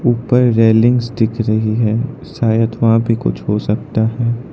ऊपर रेलिंग्स दिख रही है शायद वहां पे कुछ हो सकता है।